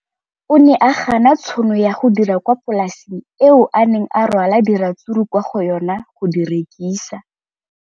O ne a gana tšhono ya go dira kwa polaseng eo a neng rwala diratsuru kwa go yona go di rekisa.